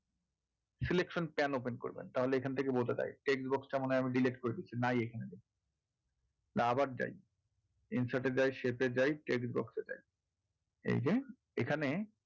selection pan বের করবেন তাহলে এখান থেকে বোঝা যায় text box টা মনে হয় আমি delete করে দিয়েছি নাই এখানে না আবার যাই insert এ যাই shaip এ যাই text box এ যাই এইযে এখানে,